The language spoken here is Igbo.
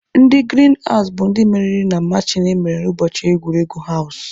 Ndị girin hawụs bụ ndị meriri na machin emere ụbọchị egwuregwu hawụs.